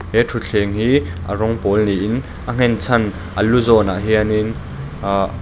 he thutthleng hi a rawng pawl niin a nghenchhan a lu zawnah hian in aah --